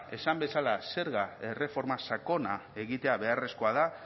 esan bezala zerga erreforma sakona egitea beharrezkoa da